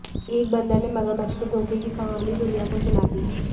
एक बंदर ने मगरमच्छ के धोखे की कहानी दुनिया को सुना दी